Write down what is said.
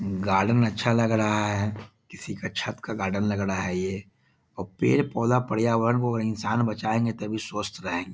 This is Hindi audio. गार्डन अच्छा लग रहा है किसी का छत का गार्डन लग रहा है ये और पेड़-पौधा पर्यावरण को इंसान बचाएंगे तभी स्वस्थ रहेंग --